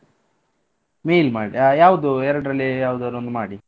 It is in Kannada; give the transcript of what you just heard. Mail ಮಾಡಿ ಅ ಯಾವ್ದು ಎರ್ಡರಲ್ಲಿ ಯಾವದಾರ್ ಒಂದ್ ಮಾಡಿ.